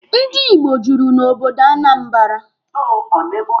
Ndi Igbo juru na obodo Anambara.